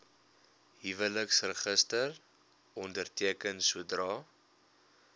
huweliksregister onderteken sodra